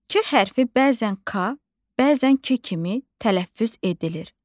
K hərfi bəzən k, bəzən k kimi tələffüz edilir.